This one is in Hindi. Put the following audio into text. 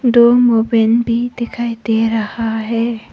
दो मोबाइल भी दिखाई दे रहा है।